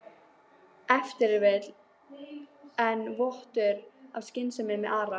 Ef til vill leyndist enn vottur af skynsemi með Ara?